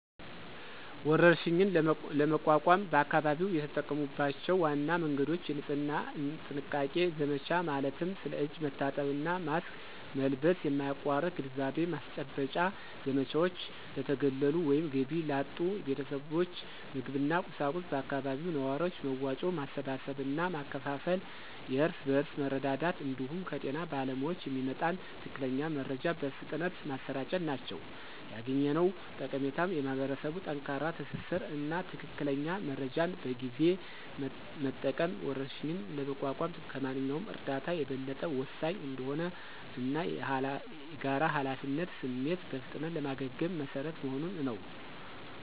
ወረርሽኝን ለመቋቋም በአካባቢው የተጠቀሙባቸው ዋና መንገዶች: የንጽህና እና ጥንቃቄ ዘመቻ ማለትም ስለ እጅ መታጠብ እና ማስክ መልበስ የማያቋርጥ ግንዛቤ ማስጨበጫ ዘመቻዎች፣ ለተገለሉ ወይም ገቢ ላጡ ቤተሰቦች ምግብና ቁሳቁስ በአካባቢው ነዋሪዎች መዋጮ ማሰባሰብ እና ማከፋፈል (የእርስ በርስ መረዳዳት) እንዲሁም ከጤና ባለሙያዎች የሚመጣን ትክክለኛ መረጃ በፍጥነት ማሰራጨት ናቸው። ያገኘነው ጠቀሜታም የማኅበረሰብ ጠንካራ ትስስር እና ትክክለኛ መረጃን በጊዜ መጠቀም ወረርሽኝን ለመቋቋም ከማንኛውም እርዳታ የበለጠ ወሳኝ እንደሆነ እና የጋራ ኃላፊነት ስሜት በፍጥነት ለማገገም መሰረት መሆኑን ነው።